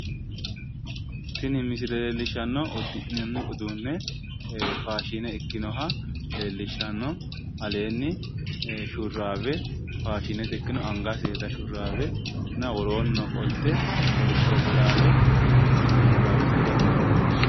Tini misile uddi'nanni udduunneeti leellishannohu faashine ikkinoha